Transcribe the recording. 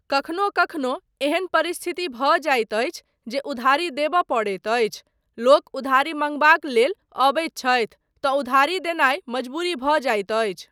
कखनो कखनो एहन परिस्थिति भऽ जाइत अछि जे उधारी देबय पड़ैत अछि, लोक उधारी मँगबाक लेल अबैत छथि तँ उधारी देनाय मजबूरी भऽ जाइत अछि।